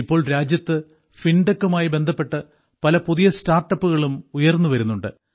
ഇപ്പോൾ രാജ്യത്ത് ഫിൻടെക്കുമായി ബന്ധപ്പെട്ട് പല പുതിയ സ്റ്റാർട്ടപ്പുകളും ഉയർന്നുവരുന്നുണ്ട്